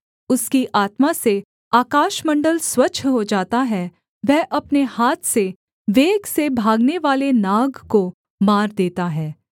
उसकी आत्मा से आकाशमण्डल स्वच्छ हो जाता है वह अपने हाथ से वेग से भागनेवाले नाग को मार देता है